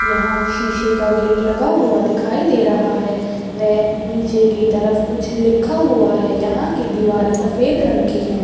यहाँ शीशे का गेट लगा हुआ दिखाई दे रहा है नीचे की तरफ कुछ लिखा हुआ है यहाँ की दीवारे सफ़ेद रंग की है ।